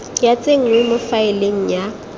ya tsenngwa mo faeleng ya